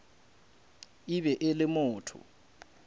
e be e le motho